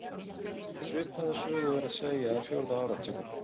Svipaða sögu er að segja af fjórða áratugnum.